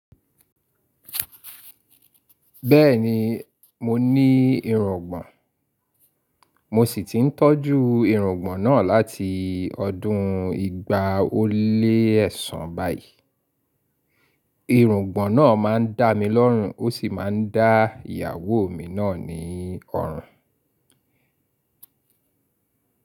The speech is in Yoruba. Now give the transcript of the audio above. Bẹ́ẹ̀ni, mo ní irungbọ̀n, mo sì ti ń tọ́jú irungbọ̀n náà láti ọdún igba ó lé ẹ̀sán báyìí. Irungbọ̀n náà máa ń dá mi lọ́rùn ó sì máa ń dá ìyàwó mi náà ní ọ̀rùn.